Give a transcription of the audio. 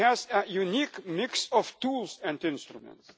The EU has a unique mix of tools and instruments.